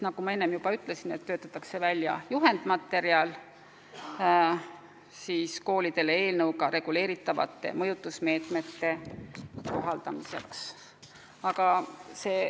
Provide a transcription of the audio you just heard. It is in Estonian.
Nagu ma enne juba ütlesin, töötatakse välja juhendmaterjal koolidele eelnõus pakutud mõjutusmeetmete kohaldamiseks.